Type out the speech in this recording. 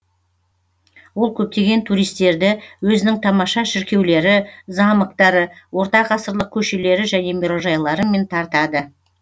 ол көптеген туристерді өзінің тамаша шіркеулері замоктары ортағасырлық көшелері және мұрайжайларымен тартады